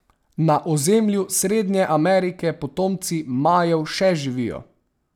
Na ozemlju Srednje Amerike potomci Majev še živijo.